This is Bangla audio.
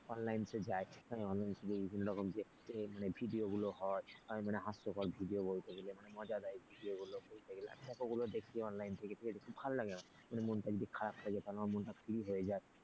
online তো যাই online এ যে বিভিন্ন রকম যে video গুলো হয় মানে হাস্যকর video বলতে গেলে মানে মজা দেয় video গুলো ওগুলো দেখি online থেকে ঠিক আছে ভালো লাগে আমার। কিন্তু মনটা যদি খারাপ থাকে তাহলে আমার মন টা free হয়ে যায়।